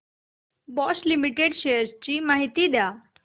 Bosch Limited shares ची माहिती द्या